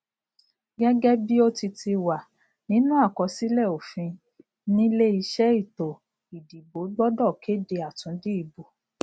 gẹgẹ bí o ti ti wà nínú àkọsílẹ òfinile iṣẹ ètò ìdìbò gbọdọ kéde àtúndì ìbò